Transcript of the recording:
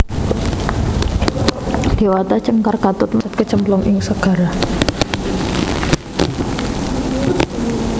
Déwata Cengkar katut mlesat kecemplung ing segara